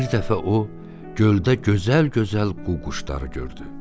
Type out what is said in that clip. Bir dəfə o, göldə gözəl-gözəl qu-quşları gördü.